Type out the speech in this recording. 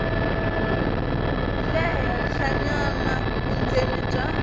le henhlanyana vundzeni bya